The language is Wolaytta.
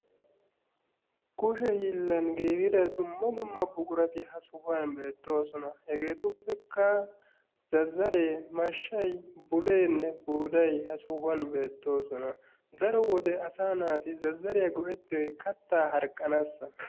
Kushe hiillan giigida dumma dumma buqurati ha sohuwan beettoosona. Hegeetuppekka zazzaree, mashshay, buleenne buuday ha sohuwan beettoosona. Daro wode asaa naati zazzariya go'ettiyoy kattaa harqqanaassa.